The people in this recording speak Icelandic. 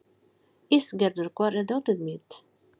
Ísgerður, hvar er dótið mitt?